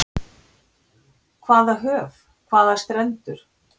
Hvaða höf, hvaða strendur.